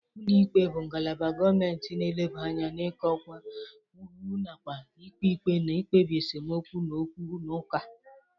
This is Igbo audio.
Ụlọ ikpe bụ ngalaba gọmenti na-eleba anya n'ịkọwa iwu nakwa ikpe ikpe na ikpebi esemokwu na okwu na ụka.